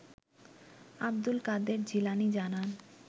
আব্দুল কাদের জিলানী জানান